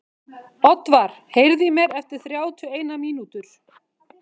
Oddvar, heyrðu í mér eftir þrjátíu og eina mínútur.